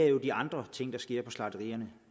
jo er de andre ting der sker på slagterierne